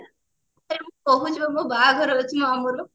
କହୁଛିବା ମୋ ବାହାଘର ଅଛି ମୋ ମାମୁଁ ର